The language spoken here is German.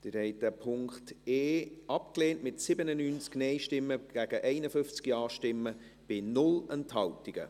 Sie haben den Punkt e abgelehnt, mit 97 Nein- gegen 51 Ja-Stimmen bei 0 Enthaltungen.